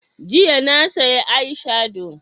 Jiya na saya eye shado